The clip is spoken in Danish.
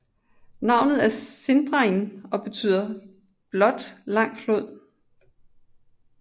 Navnet er Sindarin og betyder blot Lang flod